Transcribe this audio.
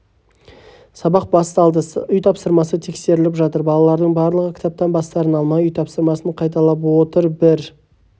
сабақ басталды үй тапсырмасы тексеріліп жатыр балалардың барлығы кітаптан бастарын алмай үй тапсырмасын қайталап отыр бір